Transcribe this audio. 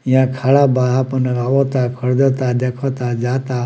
यहाँ खड़ा बा आपन आवता खरीदता देखता जाता।